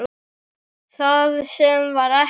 Það sem var er ekki.